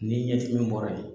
N ni ɲɛdimi bɔra ye.